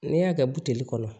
Ne y'a kɛ buteli kɔnɔ